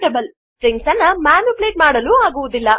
ನಾವು ಸ್ಟ್ರಿಂಗ್ ಅನ್ನು ಮ್ಯಾನಿಪುಲೇಟ್ ಮಾಡಲು ಆಗುವುದಿಲ್ಲ